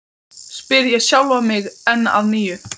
spyr ég sjálfan mig enn að nýju.